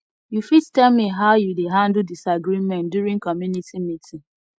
you fit tell me how you dey handle disagreement during community meeting